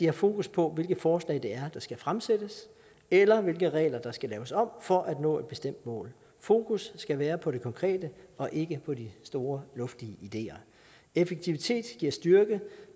er fokus på hvilke forslag det er der skal fremsættes eller hvilke regler der skal laves om for at nå et bestemt mål fokus skal være på det konkrete og ikke på de store luftige ideer effektivitet giver styrke